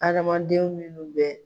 Adamadenw minnu bɛ.